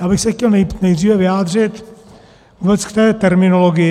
Já bych se chtěl nejdříve vyjádřit vůbec k té terminologii.